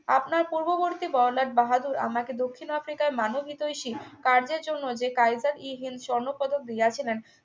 আপনার পূর্ববর্তী বড়লাট বাহাদুর আমাকে দক্ষিণ আফ্রিকায় মানবহিতৈষী কার্যের জন্য যে কাইজার-ই-হিন্দ স্বর্ণ পদক দিয়াছিলেন